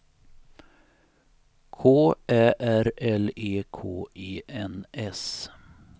K Ä R L E K E N S